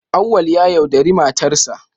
Auwal ya yaudari matarsa